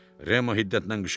Remo hiddətlə qışqırdı.